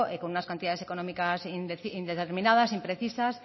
con unas cantidades económicas indeterminadas imprecisas